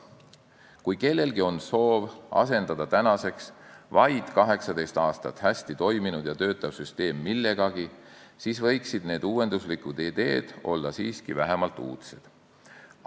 Kui kellelgi on soov tänaseks vaid 18 aastat hästi toiminud ja töötav süsteem millegagi asendada, siis võiksid need uuenduslikud ideed olla vähemalt uudsed.